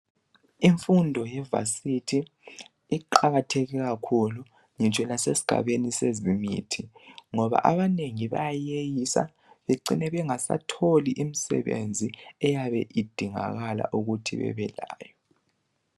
Imfundo ye vasithi iqakatheke kakhulu, ngitsho lasesigabeni sezemithi, ngoba abanengi bayayeyisa bacine bengasatholi imsebenzi eyabe idingakala ukuthi bebe layo.